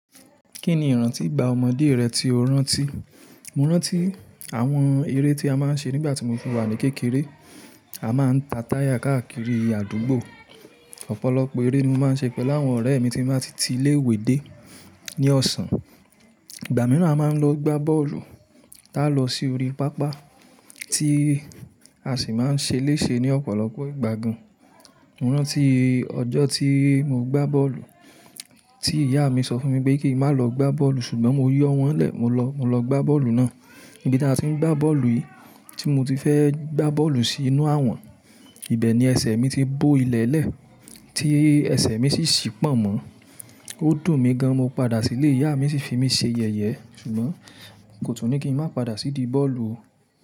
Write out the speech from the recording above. Kí ni ìrántí igbá ọmọdé rẹ tí o rántí? Mo rántí àwọn eré tí a máa ń ṣe nígbà tí mo fi wà ní kékeré. A máa ń ta táyà káàkiri àdúgbò. Ọ̀pọ̀lọpọ̀ eré ni mo máa ń ṣe pẹ̀lú àwọn ọ̀rẹ́ mi tí n bá ti ti ilé ìwé dé ní ọ̀sán. Ìgbà mìíràn a máa ń lọ gbá bọ́ọ̀lù. Táa lọ sí orí pápá tí a sì máa ń ṣe léṣe ní ọ̀pọ̀lọpọ̀ ìgbà gán. Mo rántí ọjọ́ tí mo gbá bọ́ọ̀lù tí ìyá mi sọ fún mi pé kí n má lọ gbá bọ́ọ̀lù ṣùgbọ́n mo yọ wọ́n lẹ̀, mo lọ, mo lọ gbá bọ́ọ̀lù náà. Níbi tí a ti ń gbá bọ́ọ̀lù yìí tí mo ti fẹ́ gbá bọ́ọ̀lù sí inú àwọ̀n, ibẹ̀ ni ẹsẹ̀ mi ti bó ilẹ̀lẹ́, tí ẹsẹ̀ mi sì ṣí pọ̀nmọ́. Ó dùn mí gan, mo padà sílé, ìyá mi ṣì fi mí ṣe yẹ̀yẹ́ ṣùgbọ́n kò tún ní kí n má padà sì di bọ́ọ̀lù.